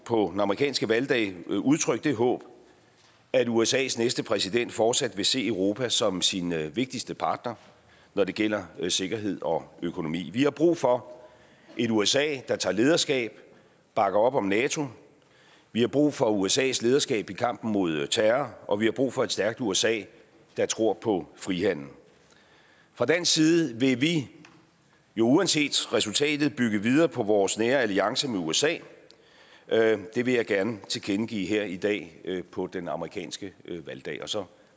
på den amerikanske valgdag udtrykke det håb at usas næste præsident fortsat vil se europa som sin vigtigste partner når det gælder sikkerhed og økonomi vi har brug for et usa der tager lederskab bakker op om nato vi har brug for usas lederskab i kampen mod terror og vi har brug for et stærkt usa der tror på frihandel fra dansk side vil vi vi uanset resultatet bygge videre på vores nære alliance med usa det vil jeg gerne tilkendegive her i dag på den amerikanske valgdag og så